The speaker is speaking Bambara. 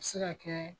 A bɛ se ka kɛ